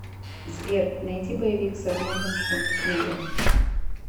сбер найди боевик с арнольдом шварцнеггером